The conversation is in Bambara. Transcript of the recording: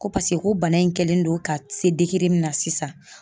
Ko paseke ko bana in kɛlen don ka se min na sisan.